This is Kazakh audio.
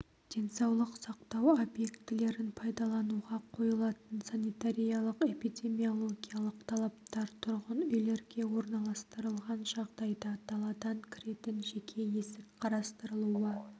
денсаулық сақтау объектілерін пайдалануға қойылатын санитариялық-эпидемиологиялық талаптар тұрғын үйлерге орналастырылған жағдайда даладан кіретін жеке есік қарастырылуы